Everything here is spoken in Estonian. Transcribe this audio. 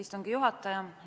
Istungi juhataja!